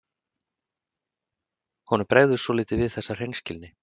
Honum bregður svolítið við þessa hreinskilni.